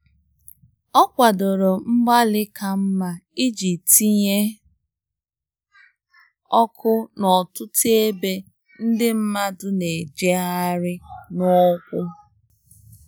ọ kwadoro mgbali ka mma iji tinye ọkụ n'ọtụtụ ebe ndi madu na ejeghari n'ụkwụ.